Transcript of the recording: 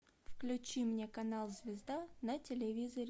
включи мне канал звезда на телевизоре